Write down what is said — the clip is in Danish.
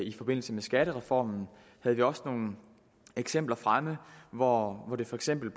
i forbindelse med skattereformen havde vi også nogle eksempler fremme hvor det for eksempel